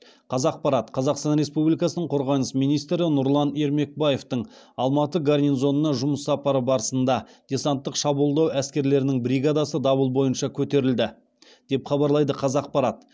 қазақпарат қазақстан республиксының қорғаныс министрі нұрлан ермекбаевтың алматы гарнизонына жұмыс сапары барысында десанттық шабуылдау әскерлерінің бригадасы дабыл бойынша көтерілді деп хабарлайды қазақпарат